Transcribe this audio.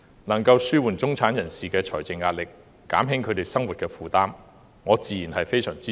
能夠紓緩中產人士的財政壓力，減輕他們的生活負擔，我自然非常支持。